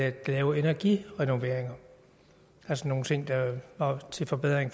at lave energirenoveringer altså nogle ting til forbedring